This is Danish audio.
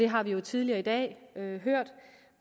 har vi jo tidligere i dag hørt